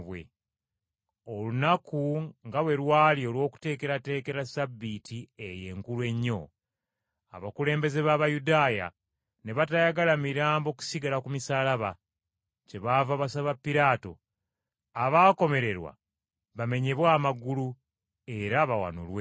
Olunaku nga bwe lwali olw’okweteekerateekera Ssabbiiti eyo enkulu ennyo, abakulembeze b’Abayudaaya ne batayagala mirambo kusigala ku misaalaba. Kyebaava basaba Piraato abaakomererwa bamenyebwe amagulu era bawanulweyo.